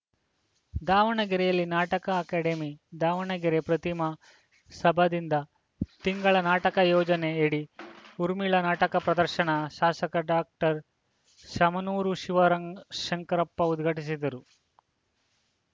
ದಾವಣಗೆರೆಯಲ್ಲಿ ನಾಟಕ ಅಕಾಡೆಮಿ ದಾವಣಗೆರೆ ಪ್ರತಿಮಾ ಸಭಾದಿಂದ ತಿಂಗಳ ನಾಟಕ ಯೋಜನೆಯಡಿ ಊರ್ಮಿಳಾ ನಾಟಕ ಪ್ರದರ್ಶನ ಶಾಸಕ ಡಾಕ್ಟರ್ ಶಾಮನೂರು ಶಿವರಂಗ್ ಶಂಕರಪ್ಪ ಉದ್ಘಾಟಿಸಿದರು